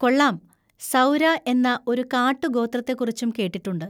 കൊള്ളാം! സൗര എന്ന ഒരു കാട്ടു ഗോത്രത്തെക്കുറിച്ചും കേട്ടിട്ടുണ്ട്.